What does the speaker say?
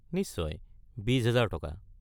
নিশ্চয়, ২০০০০/- টকা।